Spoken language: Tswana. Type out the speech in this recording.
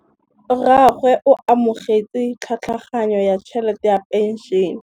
Rragwe o amogetse tlhatlhaganyô ya tšhelête ya phenšene.